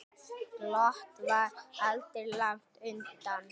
Glottið var aldrei langt undan.